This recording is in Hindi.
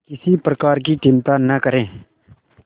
किसी प्रकार की चिंता न करें